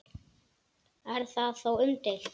Er það þó umdeilt